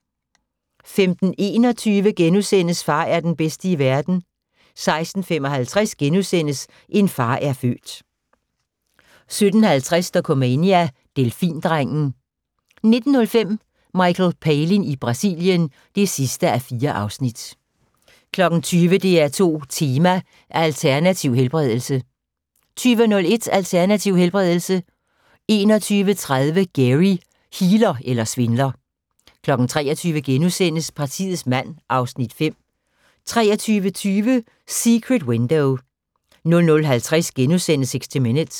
15:21: Far er den bedste i verden * 16:55: En far er født * 17:50: Dokumania: Delfindrengen 19:05: Michael Palin i Brasilien (4:4) 20:00: DR2 Tema: Alternativ helbredelse 20:01: Alternativ helbredelse 21:30: Gary – healer eller svindler? 23:00: Partiets mand (Afs. 5)* 23:20: Secret Window 00:50: 60 Minutes *